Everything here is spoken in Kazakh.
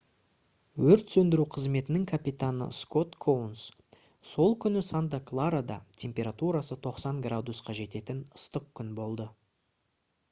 өрт сөндіру қызметінің капитаны скот коунс: «сол күні санта-кларада температурасы 90 градусқа жететін ыстық күн болды